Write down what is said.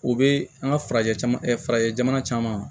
O be an ka farajɛ caman farajɛ jamana caman